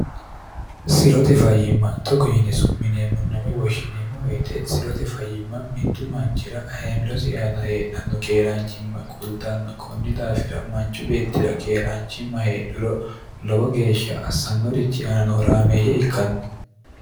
sirote fayiimma togo yinisu mineemmunname woshshineemmo woyite sirote fayimma mittu manchira heemirosi aana heedhanno keeraanchimma kultanno kunni daafira manchu beettira keeraanchimma heedhiro lowo geeshsha assannorichi aananohoraameeyye ikkanno